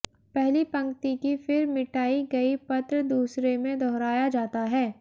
पहली पंक्ति की फिर मिटाई गई पत्र दूसरे में दोहराया जाता है